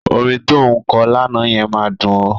Orin tó ń kọ lánàá yẹn máa dùn ó.